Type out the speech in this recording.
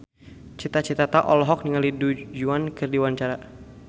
Cita Citata olohok ningali Du Juan keur diwawancara